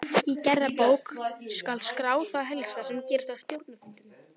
Í gerðabók skal skrá það helsta sem gerist á stjórnarfundum.